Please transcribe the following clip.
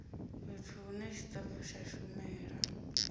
fhethu hune tshitafu tsha shumela